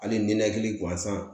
Hali ninakili gansan